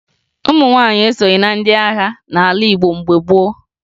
Ụmụ nwaanyị esoghi na ndị agha n'ala Igbo mgbe gboo